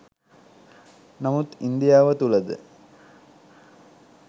නමුත් ඉන්දියාව තුළ ද